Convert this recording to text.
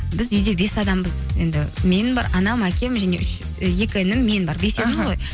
біз үйде бес адамбыз енді мен бар анам әкем және үш і екі інім мен бар бесеуміз ғой